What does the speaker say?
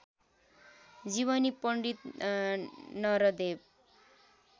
जीवनी पण्डित नरदेव